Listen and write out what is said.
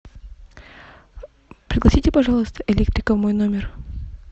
пригласите пожалуйста электрика в мой номер